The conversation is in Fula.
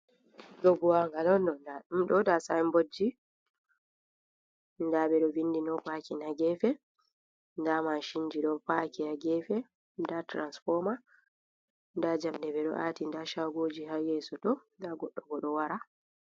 Ɗoh buwangal on ɗo, ɗa sayinbodji ɗa beɗo vindi no pakin ha gefe, ɗa machinji do paki ha gefe da tiransifoma ɗa jamɗe ɓedo ati da shagoji ha yeso tô da goɗɗo ɓo ɗo wara.